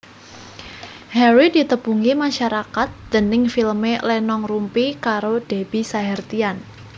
Harry ditepungi masarakat déning filmé Lenong Rumpi karo Debby Sahertian